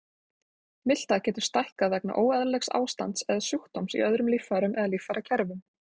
Miltað getur stækkað vegna óeðlilegs ástands eða sjúkdóms í öðrum líffærum eða líffærakerfum.